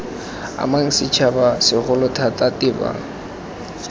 amang setšhaba segolo thata tebang